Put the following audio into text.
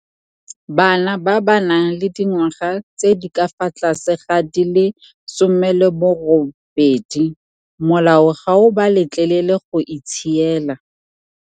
Bana ba ba nang le dingwaga tse di ka fa tlase ga di le 18 molao ga o ba letlelele go itshiela.